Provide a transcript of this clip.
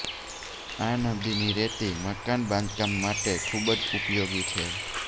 આ નદીની રેતી મકાન બાંધકામ માટે ખૂબ જ ઉપયોગી છે